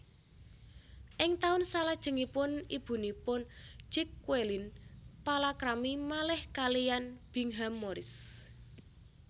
Ing taun salajengipun ibunipun Jacqueline palakrami malih kaliyan Bingham Morris